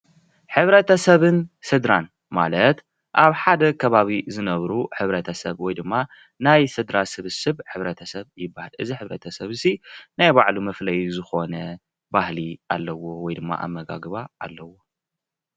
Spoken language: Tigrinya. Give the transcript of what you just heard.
ሕብረተስብን ስደራ ማለት አብ ሓደ ከባቢ ዝነብሩ ሕብረተሰብ ወይ ድማ ናይ ስድራ ስብስብ ሕብረተሰበ ይበሃል፡፡ እዚ ሕብረተስብ እዚ ናይ በዓሉ መፍለይ ዝኾነ ባህሊ አለዎ ወይ ድማ አመጋግባ አለዎ፡፡